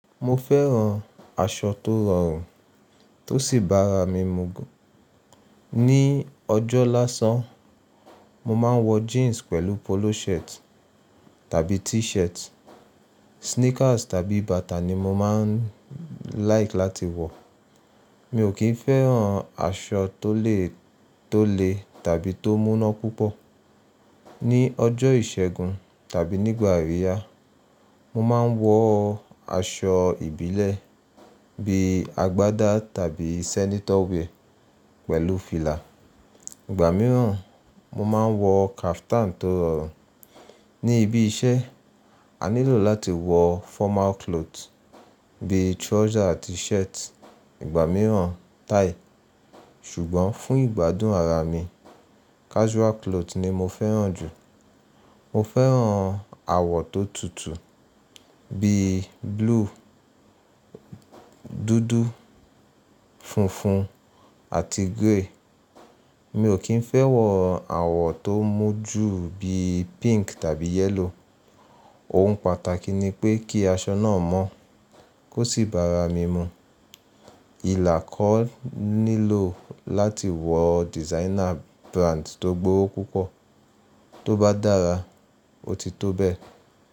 Mo fẹ́ràn aṣọ tó rọrùn tó sì bára mi mu. Ni ọjọ́ lásán, mo máa ń wọ jeans pẹ̀lú polo shirt tàbí t-shirt. Sneakers tàbí bata ni mo máa ń like láti wọ̀. Mi ò kí ń fẹ́ràn aṣọ tó le, tó le tàbí tó múná púpọ̀. Ni ọjọ́ ìṣẹ́gun tàbí nígbà aríya, mo máa ń wọ aṣọ ìbílẹ̀ bí i agbádá tàbí senator wear pẹ̀lú fìlà. Ìgbà mìíràn, mo máa ń wọ caftan tó rọrùn. Ni ibi iṣẹ́, a nílò láti wọ formal cloth bíi trouser àti shirt, ìgbà mìíràn tie. Ṣùgbọ́n fún ìgbádùn ara mi, casual cloth ni mo fẹ́ràn jù. Mo fẹ́ràn àwọ̀ tó tutù bíi blue, dúdú, funfun àti grey. Mi ò kí ń fẹ́ wọ àwọ̀ tó mú jù bíi pink tàbí yellow. Ohun pàtàkì ni pé kí aṣọ náà mọ́ kó sì bára mi mu. Ilà kò nílò láti wọ designer brand tó gbówó púpọ̀. Tóbá dára, ó ti tó bẹ́ẹ̀.